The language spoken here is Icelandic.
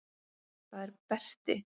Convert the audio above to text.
Það er Berti.